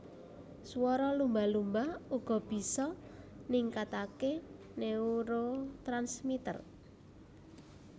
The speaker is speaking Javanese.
Swara lumba lumba uga bisa ningkatake neurotransmitter